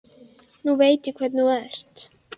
Nú veit ég hvernig þú ert!